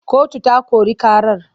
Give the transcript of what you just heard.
Kotu ta kori ƙarar.